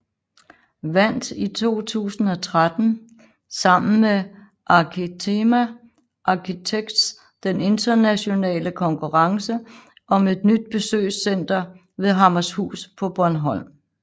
Vandt i 2013 sammen med Arkitema Architects den internationale konkurrencen om et nyt besøgscenter ved Hammershus på Bornholm